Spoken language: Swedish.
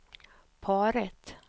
paret